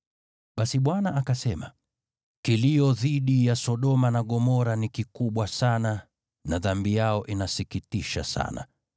Basi Bwana akasema, “Kilio dhidi ya Sodoma na Gomora ni kikubwa sana na dhambi yao inasikitisha sana,